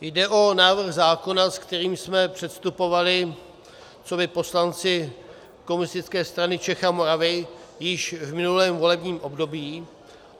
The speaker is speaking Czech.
Jde o návrh zákona, se kterým jsme předstupovali coby poslanci Komunistické strany Čech a Moravy již v minulém volebním období.